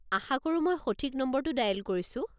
আশা কৰো মই সঠিক নম্বৰটো ডায়েল কৰিছো।